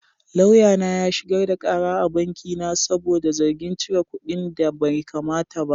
Lauyana ya shigar da kara a banki na saboda zargin cire kuɗinda baikamata ba.